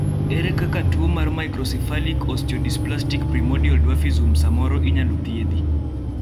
ere kaka tuo mar microcephalic osteodysplastic primordial dwarfism samoro inyalo thiedhi?